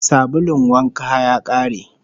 Sabulun wanka ya kare